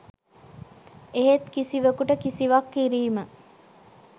එහෙත් කිසිවකුට කිසිවක් කිරීම